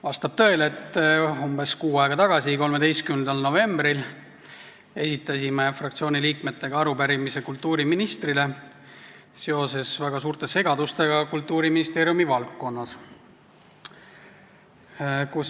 Vastab tõele, et umbes kuu aega tagasi, 13. novembril esitasid meie fraktsiooni liikmed arupärimise kultuuriministrile seoses väga suurte segadustega Kultuuriministeeriumi valdkonnas.